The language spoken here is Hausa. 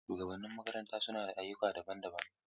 Shugabannin makaranta suna da ayyuka daban-daban.